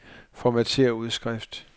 Formatér udskrift.